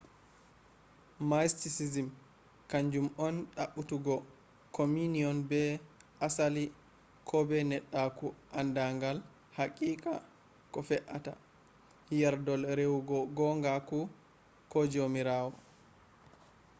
mysticism kanju on ɗaɓɓutugo communion be asali ko be neɗɗaku andagal haqiqa ko fe’atta yerdol rewugo gongaku ko jomirawo